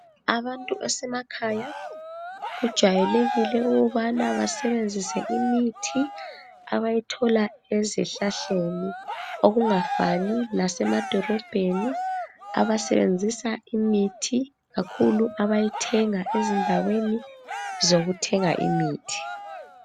Abantu basemakhaya kujwayelekile ukubana basebenzise imithi abayithola ezihlahleni. Okungafani lasemadolobheni abasebenzisa imithi kakhulu abayithenga izindaweni zokuthenga imithi.